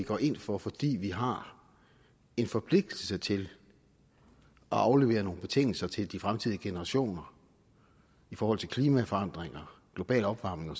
går ind for fordi vi har en forpligtelse til at aflevere nogle betingelser til de fremtidige generationer i forhold til klimaforandringer global opvarmning